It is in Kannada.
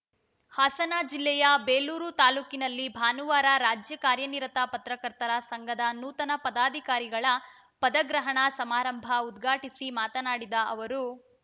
ಹಾಸನ ಜಿಲ್ಲೆಯ ಬೇಲೂರು ತಾಲೂಕಿನಲ್ಲಿ ಭಾನುವಾರ ರಾಜ್ಯ ಕಾರ್ಯನಿರತ ಪತ್ರಕರ್ತರ ಸಂಘದ ನೂತನ ಪದಾಧಿಕಾರಿಗಳ ಪದಗ್ರಹಣ ಸಮಾರಂಭ ಉದ್ಘಾಟಿಸಿ ಮಾತನಾಡಿದ ಅವರು